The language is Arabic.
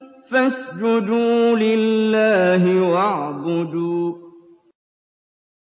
فَاسْجُدُوا لِلَّهِ وَاعْبُدُوا ۩